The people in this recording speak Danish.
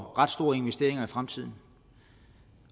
for ret store investeringer i fremtiden